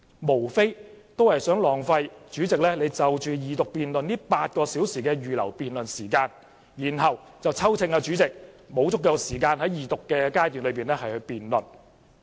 他們在浪費主席就二讀辯論預留的8小時辯論時間後，便再批評主席沒有給予足夠時間進行二讀階段辯論。